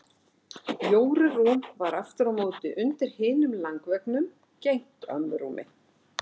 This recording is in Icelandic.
Jóru rúm var aftur á móti undir hinum langveggnum gegnt ömmu rúmi.